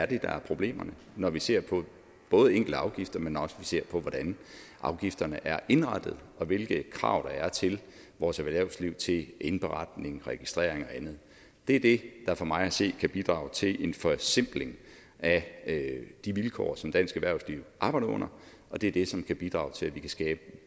det er der er problemerne når vi ser på både enkelte afgifter men også på hvordan afgifterne er indrettet og hvilke krav der er til vores erhvervsliv til indberetning registrering og andet det er det der for mig at se kan bidrage til en forsimpling af de vilkår som dansk erhvervsliv arbejder under og det er det som kan bidrage til at vi kan skabe